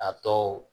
A tɔ